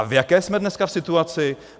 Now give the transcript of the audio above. A v jaké jsme dneska situaci?